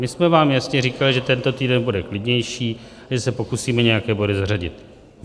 My jsme vám jasně říkali, že tento týden bude klidnější, že se pokusíme nějaké body zařadit.